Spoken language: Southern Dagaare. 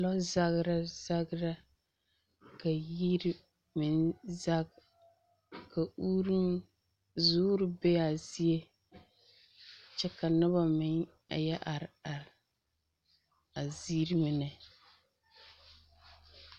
Lɔzagra zagra ka yiri meŋ zag ka uuruŋ, zoore be a zie, kyɛ ka noba meŋ a yɛ are are, a ziiri mine.